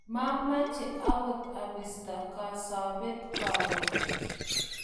mameche akot abisto Kapsabet karon